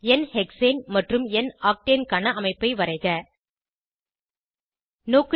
என் hexane மற்றும் என் octane க்கான அமைப்பை வரைக 2